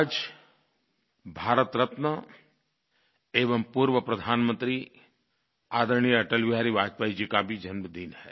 आज भारत रत्न एवं पूर्व प्रधानमंत्री आदरणीय अटल बिहारी वाजपेयी जी का भी जन्मदिन है